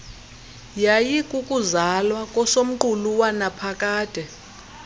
yayikukuzalwa kosomqulu wanaphakade